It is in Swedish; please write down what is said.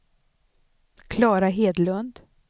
Klara Hedlund